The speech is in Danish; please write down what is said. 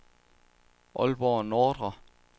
Aalborg Nordre